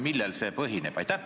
Millel see põhineb?